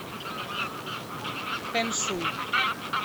хэншуй